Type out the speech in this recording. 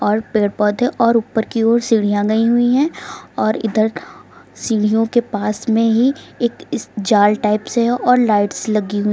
और पेड़ पौधे और ऊपर की ओर सीढ़ियां गई हुई हैं और इधर सीढ़ियों के पास में ही एक इस जाल टाइप से और लाइट्स लगी हुई--